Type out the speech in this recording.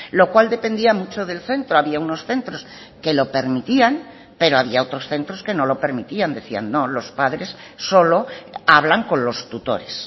lo cual dependía mucho del centro había unos centros que lo permitían pero había otros centros que no lo permitían decían no los padres solo hablan con los tutores